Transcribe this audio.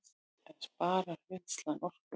En sparar vinnslan orku